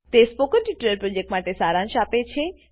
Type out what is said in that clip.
તે spoken tutorial પ્રોજેક્ટનો સારાંશ આપે છે